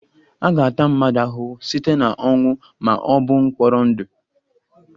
A ga-ata mmadụ ahụhụ site na ọnwụ ma ọ bụ mkpọrọ ndụ